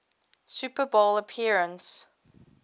super bowl appearance